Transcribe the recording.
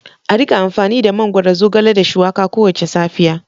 A rika amfani da mangwaro, zogale da shuwaka kowace safiya.